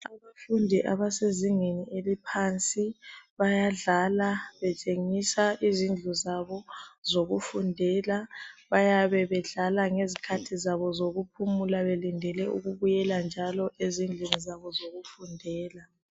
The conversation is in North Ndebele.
Abafundi abasezingeni eliphansi bayadlala betshengisa izindlu zabo zokufundela, bayabedlala ngezikhathi zabo zokuphumula belindele ukubuyela njalo ezindlini zabo zokufundela.